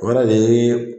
O yɛrɛ de ye